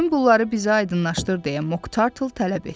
Bütün bunları bizə aydınlaşdır deyə Moq Tartle tələb etdi.